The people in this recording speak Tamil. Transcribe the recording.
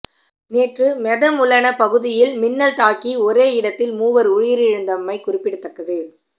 நேற்று மெதமுலன பகுதியில் மின்னல் தாக்கி ஒரே இடத்தில் மூவர் உயிரிழந்தமை குறிப்பிடத்தக்கது